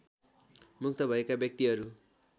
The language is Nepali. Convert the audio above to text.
मुक्त भएका व्यक्तिहरू